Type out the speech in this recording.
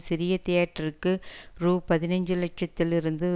சிறு தியேட்டருக்கு ரூ பதினைந்து லட்சத்திலிருந்து